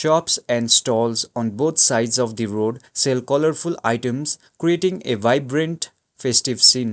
shops and stalls on both sides of the road sell colourful items creating a vibrant festive scene.